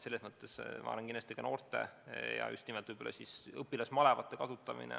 Ma olen kindel, et noorte ja just nimelt õpilasmalevate kasutamine tuleb kõne alla.